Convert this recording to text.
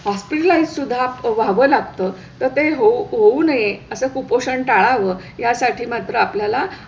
hospitalize सुद्धा व्हावं लागतं तर ते होऊ नये असा कुपोषण टाळावं यासाठी मात्र आपल्याला